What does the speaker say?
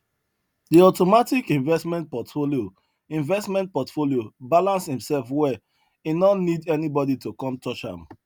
the automatic investment portfolio investment portfolio balance himself well e no need anybody to come touch am